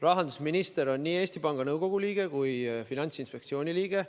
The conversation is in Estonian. Rahandusminister on nii Eesti Panga Nõukogu liige kui ka Finantsinspektsiooni liige.